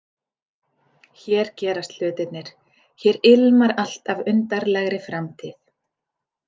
Hér gerast hlutirnir, hér ilmar allt af undarlegri framtíð.